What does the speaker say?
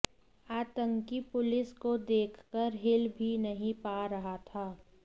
आतंकी पुलिस को देखकर हिल भी नहीं पा रहा था